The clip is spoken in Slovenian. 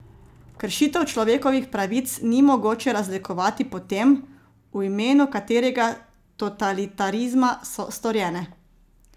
Kršitev človekovih pravic ni mogoče razlikovati po tem, v imenu katerega totalitarizma so storjene.